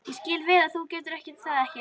Ég skil vel ef þú getur það ekki.